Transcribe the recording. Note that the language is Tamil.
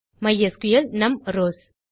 மைஸ்கிள் நும் ரவ்ஸ்